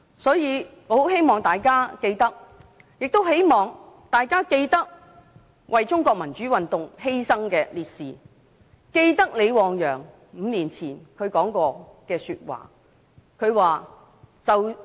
所以，我很希望大家記得為中國民主運動犧牲的烈士和李旺陽5年前說過的話。